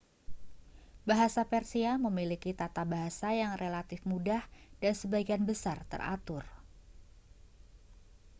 bahasa persia memiliki tata bahasa yang relatif mudah dan sebagian besar teratur